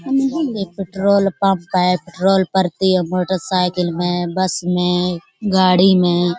petrol pump है petrol पड़ती है मोटरसाइकिल में बस में गाडी में --